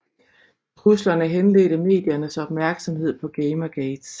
Truslerne henledte mediernes opmærksomhed på Gamergate